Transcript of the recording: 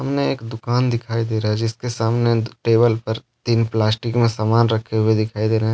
सामने एक दुकान दिखाई दे रहा है। जिसके सामने टेबल पर तीन प्लास्टिक में सामान रखे हुए दिखाई दे रहे है।